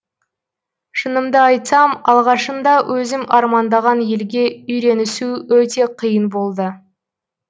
шынымды айтсам алғашында өзім армандаған елге үйренісу өте қиын болды